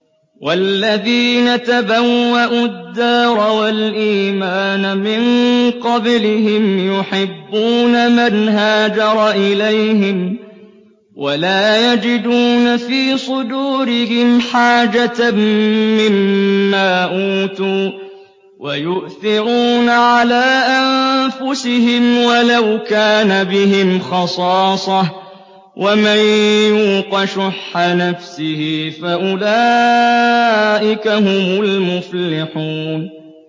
وَالَّذِينَ تَبَوَّءُوا الدَّارَ وَالْإِيمَانَ مِن قَبْلِهِمْ يُحِبُّونَ مَنْ هَاجَرَ إِلَيْهِمْ وَلَا يَجِدُونَ فِي صُدُورِهِمْ حَاجَةً مِّمَّا أُوتُوا وَيُؤْثِرُونَ عَلَىٰ أَنفُسِهِمْ وَلَوْ كَانَ بِهِمْ خَصَاصَةٌ ۚ وَمَن يُوقَ شُحَّ نَفْسِهِ فَأُولَٰئِكَ هُمُ الْمُفْلِحُونَ